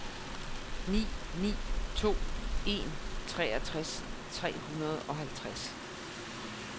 ni ni to en treogtres tre hundrede og halvtreds